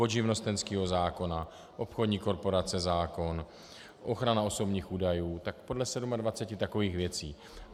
Od živnostenského zákona, obchodní korporace zákon, ochrana osobních údajů, tak podle 27 takových věcí.